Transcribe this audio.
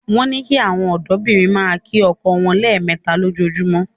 Wọ́n ní kí àwọn ọ̀dọ́bìnrin máa kí ọkọ wọn lẹ́ẹ̀mẹta lójoojúmọ́